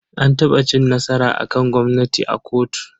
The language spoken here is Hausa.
An taɓa cin nasara a kan gwamnati a kotu.